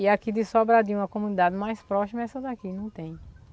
E aqui de Sobradinho, a comunidade mais próxima é essa daqui, não tem.